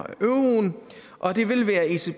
euroen og det vil være ecbs